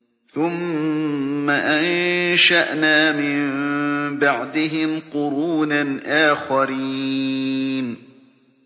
ثُمَّ أَنشَأْنَا مِن بَعْدِهِمْ قُرُونًا آخَرِينَ